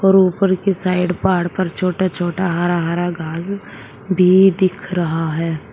और ऊपर के साइड पहाड़ पर छोटा छोटा हरा हरा घास भी दिख रहा है।